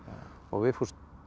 og Vigfús